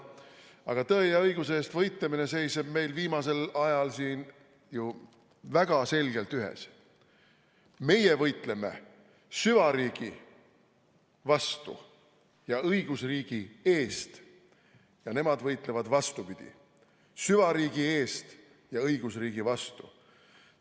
Aga tõe ja õiguse eest võitlemine seisab meil viimasel ajal siin ju väga selgelt ühes: meie võitleme süvariigi vastu ja õigusriigi eest ning nemad võitlevad vastupidi – süvariigi eest ja õigusriigi vastu.